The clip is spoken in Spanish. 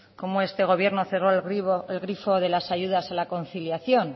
cómo este gobierno cerró el grifo de las ayudas a la conciliación